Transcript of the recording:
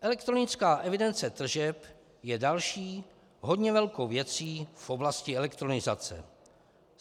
Elektronická evidence tržeb je další hodně velkou věcí v oblasti elektronizace.